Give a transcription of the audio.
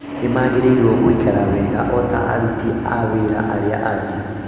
Nĩmagĩrĩirwo gũikara wega o ta aruti a wĩra arĩa angĩ